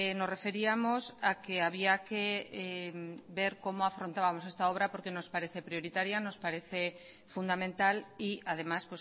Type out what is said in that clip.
nos referíamos a que había que ver cómo afrontábamos esta obra porque nos parece prioritaria nos parece fundamental y además